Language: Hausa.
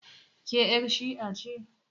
Ke yar' shi'a ce?